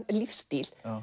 lífsstíl